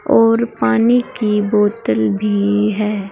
और पानी की बोतल भी है।